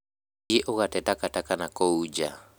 Thiĩ ũgate takataka nakũu nja